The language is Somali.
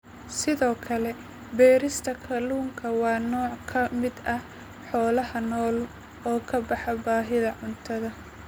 Sidoo kale beerista kalluunku waa nooc ka mid ah xoolaha nool oo ka baxa baahida cuntada.